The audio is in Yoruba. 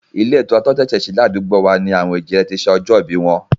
Ilé ìtura tí wọ́n ṣẹ̀ṣẹ̀ sí ládùúgbò wa ni àwọn èjìrẹ́ ti ṣe ọjọ́ ìbí wọn